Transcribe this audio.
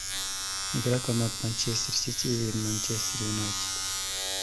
игра команд манчестер сити и манчестер юнайтед